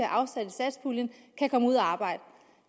afsat i satspuljen kan komme ud at arbejde